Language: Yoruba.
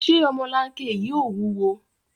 Ṣé ọmọlanke yìí ò wúwo?